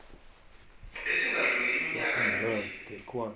esingadluli iminyaka emibli